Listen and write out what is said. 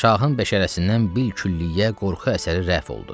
Şahın bəşərəsindən bil külliyə qorxu əsəri rəf oldu.